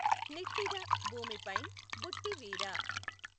నిట్టిద భూమిపైఁ బుట్టి వీర